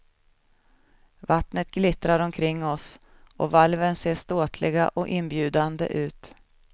Vattnet glittrar omkring oss och valven ser ståtliga och inbjudande ut.